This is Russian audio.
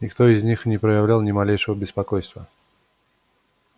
никто из них не проявлял ни малейшего беспокойства